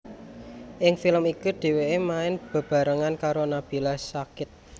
Ing film iku dheweke main bebarengan karo Nabila Syakib